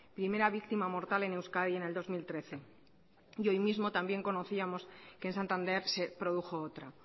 primera víctima mortal en euskadi en el dos mil trece y hoy mismo también conocíamos que en santander se produjo otra